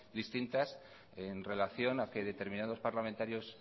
distintas en relación a que determinados parlamentarios